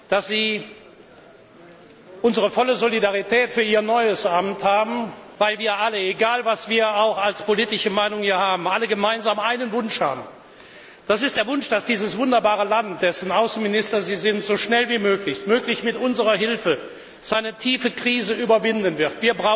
dass Sie unsere volle Solidarität für Ihr neues Amt haben, weil wir alle egal, welche politische Meinung wir auch vertreten alle gemeinsam einen Wunsch haben Das ist der Wunsch, dass dieses wunderbare Land, dessen Außenminister Sie sind, so schnell wie möglich, möglichst mit unserer Hilfe, seine tiefe Krise überwinden wird.